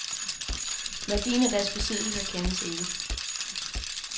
Værdien af deres besiddelser kendes ikke.